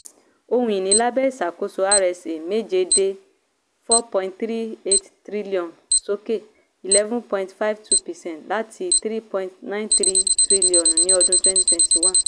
ohun-ìní lábẹ́ ìṣàkóso rsa méje dé n four point three eight tríllíọ̀nù sókè eleven point five two percent láti n three point nine three tríllíọ̀nù ni ọdún twenty twenty one.